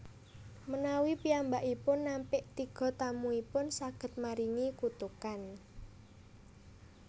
Menawi piyambakipun nampik tiga tamuipun saged maringi kutukan